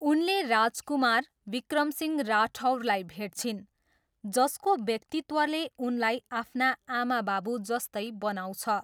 उनले राजकुमार, विक्रम सिंह राठौरलाई भेट्छिन्, जसको व्यक्तित्वले उनलाई आफ्ना आमाबाबु जस्तै बनाउँछ।